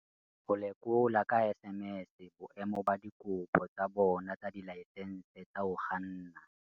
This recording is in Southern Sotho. Ho lekola ka SMS boemo ba dikopo tsa bona tsa dilaesense tsa ho kganna